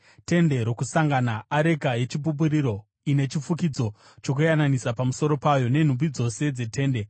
“Tende Rokusangana, areka yeChipupuriro ine chifukidzo chokuyananisa pamusoro payo, nenhumbi dzose dzetende,